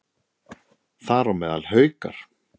Þar á meðal Haukar.